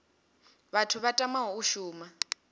vhathu vha tamaho u shuma